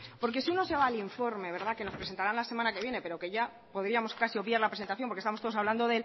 porque si uno se va al informe que nos presentará la semana que viene pero que ya podíamos casi obviar la presentación porque estamos todos hablando